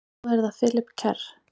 Svo er það Philip Kerr.